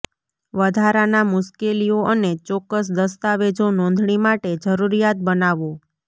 વધારાના મુશ્કેલીઓ અને ચોક્કસ દસ્તાવેજો નોંધણી માટે જરૂરિયાત બનાવો